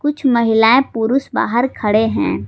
कुछ महिलाएं पुरुष बाहर खड़े हैं।